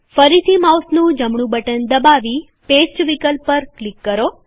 ફરીથી માઉસનું જમણું બટન દબાવી પેસ્ટ વિકલ્પ પર ક્લિક કરો